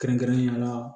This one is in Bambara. Kɛrɛnkɛrɛnnenya la